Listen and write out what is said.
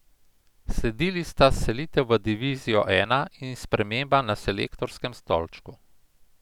Sledili sta selitev v divizijo I in sprememba na selektorskem stolčku.